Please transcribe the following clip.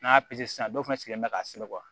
N'a y'a sisan dɔ fana sigilen bɛ ka sɛbɛn